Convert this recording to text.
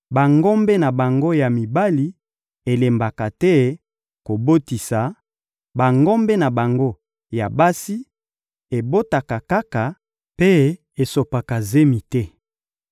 Bangombe na bango ya mibali elembaka te kobotisa, bangombe na bango ya basi ebotaka kaka mpe esopaka zemi te.